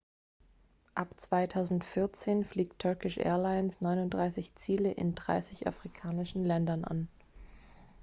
ab 2014 fliegt turkish airlines 39 ziele in 30 afrikanischen ländern an